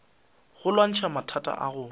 go lwantšha mathata a gago